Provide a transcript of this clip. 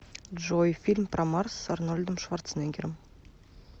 джой фильм про марс с арнольдом шварцнеггером